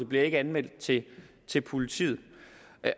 bliver anmeldt til til politiet